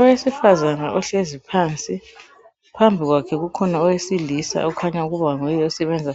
Owesifazana uhlezi phansi phambi kwakhe kukhona owesilisa okhanya ukuba nguye osebenza